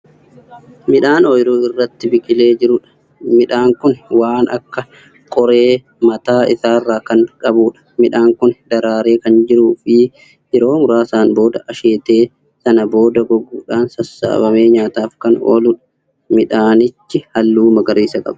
Midhaan ooyiruu irratti biqilee jiruudha. midhaan Kuni waan Akka qoree mataa isaarra Kan qabuudha. midhaan Kuni daraaree Kan jiruufi yeroo muraasaan booda asheetee sana booda goguudhaan sassaabbamee nyaataaf Kan ooludha. midhaanichi halluu magariisa qaba.